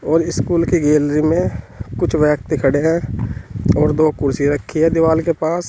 और स्कूल की गैलरी में कुछ व्यक्ति खड़े हैं और दो कुर्सी रखी है दीवाल के पास।